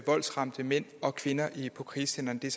voldsramte mænd og kvinder på krisecentrene